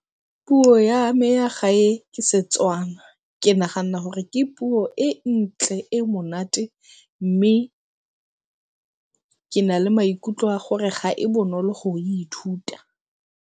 Puo ya me ya gae ke Setswana ke nagana gore ke puo e ntle e monate, mme ke na le maikutlo a gore ga e bonolo go ithuta.